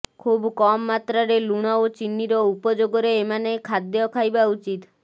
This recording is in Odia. ଖୁବ୍ କମ୍ ମାତ୍ରାରେ ଲୁଣ ଓ ଚିନିର ଉପଯୋଗରେ ଏମାନେ ଖାଦ୍ୟ ଖାଇବା ଉଚିତ